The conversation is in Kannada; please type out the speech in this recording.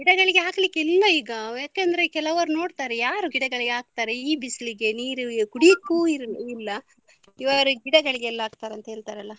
ಗಿಡಗಳಿಗೆ ಹಾಕ್ಲಿಕ್ಕೆ ಇಲ್ಲ ಈಗ ಯಾಕಂದ್ರೆ ಕೆಲವರು ನೋಡ್ತಾರೆ ಯಾರು ಗಿಡಗಳಿಗೆ ಹಾಕ್ತಾರೆ ಈ ಬಿಸ್ಲಿಗೆ ನೀರು ಕುಡಿಯಕ್ಕು ಇ~ ಇಲ್ಲ ಇವರು ಗಿಡಗಳಿಗೆ ಎಲ್ಲ್ ಹಾಕ್ತಾರೆ ಅಂತ ಹೇಳ್ತಾರಲ್ಲ.